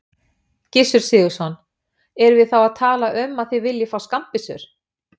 Gissur Sigurðsson: Erum við þá að tala um að þið viljið fá skammbyssur?